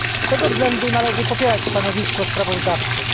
Z tego względu należy popierać stanowisko sprawozdawczyń.